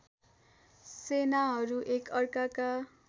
सेनाहरू एक अर्काका